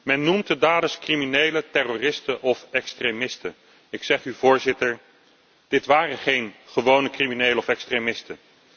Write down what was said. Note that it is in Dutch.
Men noemt de daders criminele terroristen of extremisten. Ik zeg u, Voorzitter, dit waren geen gewone criminelen of extremisten.